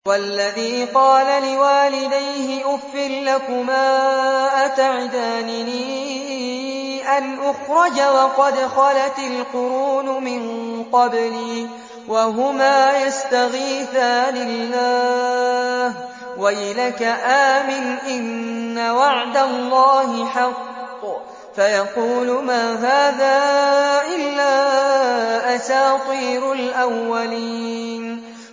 وَالَّذِي قَالَ لِوَالِدَيْهِ أُفٍّ لَّكُمَا أَتَعِدَانِنِي أَنْ أُخْرَجَ وَقَدْ خَلَتِ الْقُرُونُ مِن قَبْلِي وَهُمَا يَسْتَغِيثَانِ اللَّهَ وَيْلَكَ آمِنْ إِنَّ وَعْدَ اللَّهِ حَقٌّ فَيَقُولُ مَا هَٰذَا إِلَّا أَسَاطِيرُ الْأَوَّلِينَ